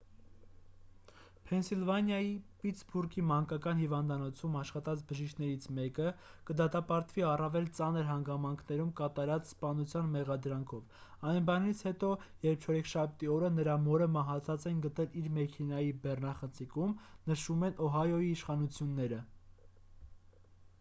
փենսիլվանիայի պիտսբուրգի մանկական հիվանդանոցում աշխատած բժիշկներից մեկը կդատապարտվի առավել ծանր հանգամանքներում կատարած սպանության մեղադրանքով այն բանից հետո երբ չորեքշաբթի օրը նրա մորը մահացած են գտել իր մեքենայի բեռնախցիկում նշում են օհայոյի իշխանությունները